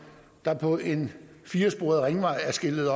der på en firesporet ringvej er skiltet